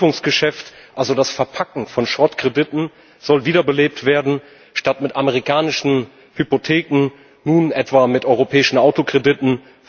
Das Verbriefungsgeschäft also das Verpacken von Schrottkrediten soll wiederbelebt werden, statt mit amerikanischen Hypotheken nun etwa mit europäischen Autokrediten.